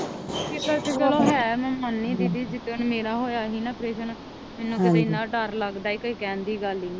ਫਿਕਰ ਤੇ ਚਲੋ ਹੈ ਮੈ ਮਨਦੀ ਦੀਦੀ ਜਿਦਣ ਮੇਰਾ ਹੋਇਆ ਸੀ ਨਾ ਪ੍ਰੇਸਨ ਮੈਨੂੰ ਤੇ ਏਨਾ ਡਾਰ ਲਗਦਾ ਸੀ ਕੋਈ ਕੇਹਨ ਦੀ ਗੱਲ ਈ ਨੀ